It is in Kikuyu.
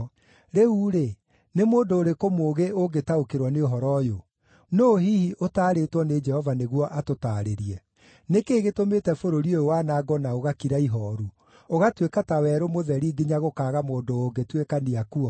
Rĩu-rĩ, nĩ mũndũ ũrĩkũ mũũgĩ ũngĩtaũkĩrwo nĩ ũhoro ũyũ? Nũũ hihi ũtaarĩtwo nĩ Jehova nĩguo atũtaarĩrie? Nĩ kĩĩ gĩtũmĩte bũrũri ũyũ wanangwo na ũgakira ihooru, ũgatuĩka ta werũ mũtheri nginya gũkaaga mũndũ ũngĩtuĩkania kuo?